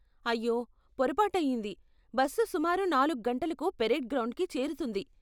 అయ్యో, పొరపాటు అయింది, బస్సు సుమారు నాలుగు గంటలకు పరేడ్ గ్రౌండ్కి చేరుతుంది.